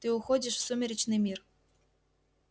ты уходишь в сумеречный мир